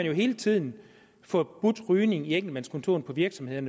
jo hele tiden forbudt rygning på enkeltmandskontorer i virksomheder